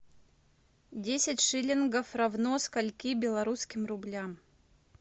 десять шиллингов равно скольки белорусским рублям